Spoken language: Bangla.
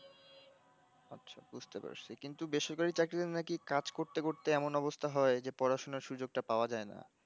আচ্ছা বুজতে পারছি কিন্তু বেসরকারি চাকরির নাকি কাজ করতে করতে এমন অবস্তা হয় যে পড়াশোনার সুযোগ টা পাওয়া যায় না